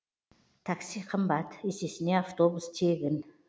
такси қымбат есесіне автобус тегін